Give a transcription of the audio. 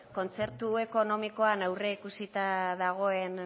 kontzertu ekonomikoan aurreikusita dagoen